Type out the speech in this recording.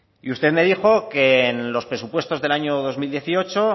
y usted me dijo que es los presupuestos del año dos mil dieciocho